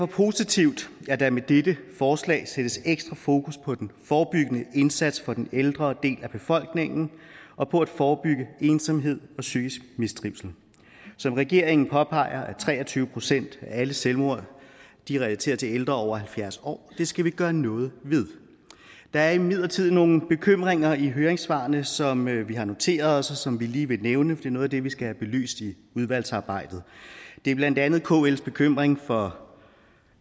positivt at der med dette forslag sættes ekstra fokus på den forebyggende indsats for den ældre del af befolkningen og på at forebygge ensomhed og psykisk mistrivsel som regeringen påpeger er tre og tyve procent af alle selvmord relateret til ældre over halvfjerds år det skal vi gøre noget ved der er imidlertid nogle bekymringer i høringssvarene som vi har noteret os og som vi lige vil nævne for det er noget af det vi skal have belyst i udvalgsarbejdet det er blandt andet kls bekymring for